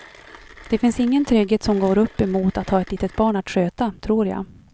Det finns ingen trygghet som går upp emot att ha ett litet barn att sköta, tror jag.